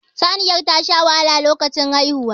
Saniyar tasha wahala lokacin haihuwa